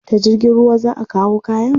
Ta jirgin ruwa za a kawo kayan?